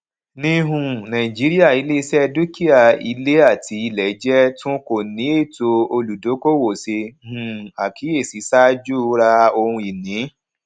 ní um nàìjíríà iléiṣẹ dúkìá ilé àti ilẹ jẹ tun kò ní ètò olùdókòòwò ṣe um àkíyèsí ṣáájú ra ohunìní